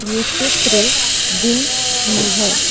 यह चित्र दिन की है।